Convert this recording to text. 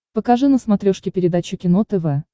покажи на смотрешке передачу кино тв